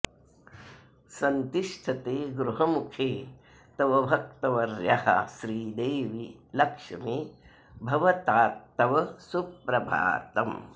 सन्तिष्ठते गृहमुखे तव भक्तवर्यः श्रीदेवि लक्ष्मि भवतात्तव सुप्रभातम्